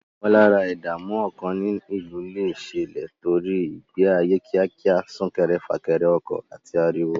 Ìmọ̀lára ìdààmú ọkàn ní ìlú lè ṣẹlẹ̀ nítorí ìgbé ayé kíákíá, sún kéré fà kẹrẹ ọkọ̀, àti ariwo.